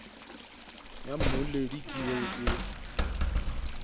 ya mmoledi ke eo e